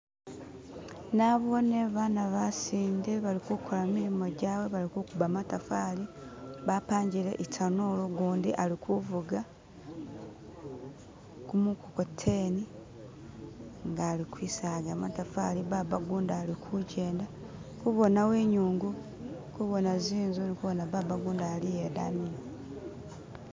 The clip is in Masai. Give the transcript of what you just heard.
nabone bana basinde bali kukola mulimo jawe bali kukuba matafali bapangile itanulu gundi akuvuga kumukokoteni nga ali kwisaga matafali babagundi alikujenda kubonawo inyungu kubona zinzu kubona baba gundi aliya idayi